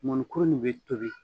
Mɔnikuru nin bɛ tobi